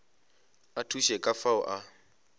a thuše ka fao a